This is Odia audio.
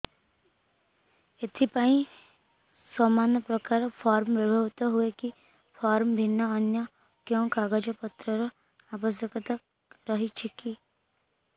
ଏଥିପାଇଁ ସମାନପ୍ରକାର ଫର୍ମ ବ୍ୟବହୃତ ହୂଏକି ଫର୍ମ ଭିନ୍ନ ଅନ୍ୟ କେଉଁ କାଗଜପତ୍ରର ଆବଶ୍ୟକତା ରହିଛିକି